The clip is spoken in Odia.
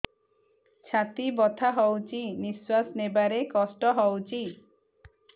ଛାତି ବଥା ହଉଚି ନିଶ୍ୱାସ ନେବାରେ କଷ୍ଟ ହଉଚି